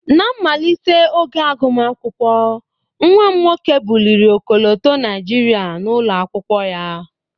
Ná mmalite oge agụmakwụkwọ, nwa m nwoke buliri ọkọlọtọ Naijiria n'ụlọ akwụkwọ ya